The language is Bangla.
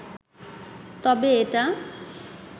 তবে এটা